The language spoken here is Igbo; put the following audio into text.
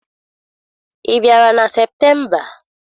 Ị bịara na Septemba?